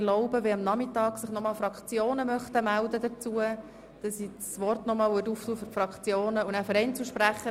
Wenn sich am Nachmittag weitere Fraktionen zu diesen Anträgen melden möchten, öffne ich das Wort noch einmal, und dann auch für Einzelsprecher.